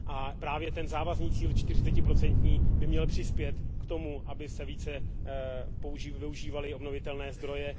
A právě ten závazný cíl čtyřicetiprocentní by měl přispět k tomu, aby se více využívaly obnovitelné zdroje.